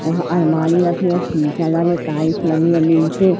वहां अलमारी रखी है शीशे लगे टाइल्स लगी है नीचे।